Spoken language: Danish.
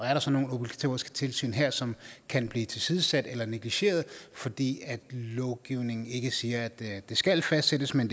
er der så nogle obligatoriske tilsyn her som kan blive tilsidesat eller negligeret fordi lovgivningen ikke siger at det skal fastsættes men